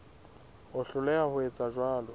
ho hloleha ho etsa jwalo